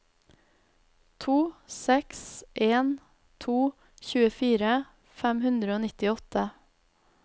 to seks en to tjuefire fem hundre og nittiåtte